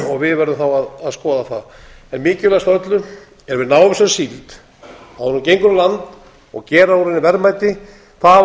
við verðum að skoða það mikilvægast af öllu er að við náum þessari síld áður en hún gengur á land og gera úr henni verðmæti það hafa